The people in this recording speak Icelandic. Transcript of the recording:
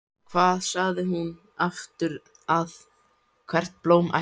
Hvað sagði hún aftur að hvert blóm ætti að fá?